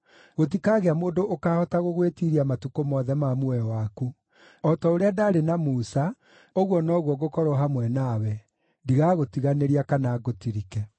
Gũtikagĩa mũndũ ũkaahota gũgwĩtiiria matukũ mothe ma muoyo waku. O ta ũrĩa ndaarĩ na Musa, ũguo noguo ngũkorwo hamwe nawe; ndigagũtiganĩria kana ngũtirike.